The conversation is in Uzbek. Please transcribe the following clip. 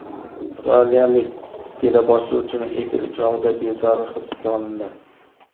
Avstraliyalik teleboshlovchining efiri chog‘ida bezori hibsga olindi .